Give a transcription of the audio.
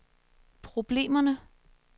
problemerne